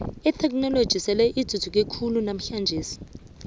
itheknoloji sele ithuthuke khulu namhlanje